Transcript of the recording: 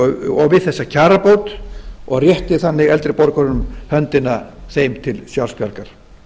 og við þessa kjarabót og rétti þannig eldri borgurum höndina þeim til sjálfsbjargar